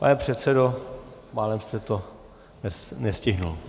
Pane předsedo, málem jste to nestihl.